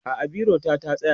a'a biro ta ta tsaya